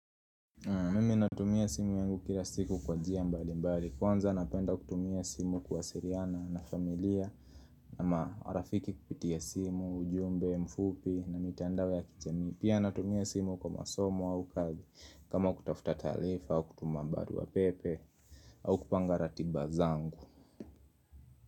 Mimi natumia simu yangu kila siku kwa njia mbali mbali Kwanza napenda kutumia simu kuwasiliana na familia na maarafiki kupitia simu, ujumbe, mfupi na mitandao ya kijamii Pia natumia simu kwa masomo au kazi kama kutafuta taarifa au kutuma barua pepe au kupanga ratiba zangu.